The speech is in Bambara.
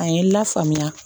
A ye n lafaamuya